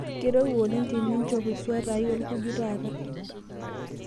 keirowua oleng teninchop eswata ai olkuju taata